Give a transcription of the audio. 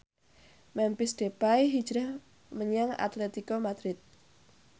Memphis Depay hijrah menyang Atletico Madrid